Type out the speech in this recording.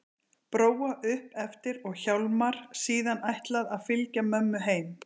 Bróa upp eftir og Hjálmar síðan ætlað að fylgja mömmu heim.